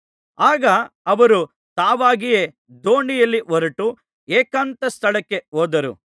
ಆಗ ಅವರು ತಾವಾಗಿಯೇ ದೋಣಿಯಲ್ಲಿ ಹೊರಟು ಏಕಾಂತ ಸ್ಥಳಕ್ಕೆ ಹೋದರು